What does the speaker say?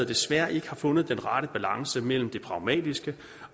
desværre ikke har fundet den rette balance mellem det pragmatiske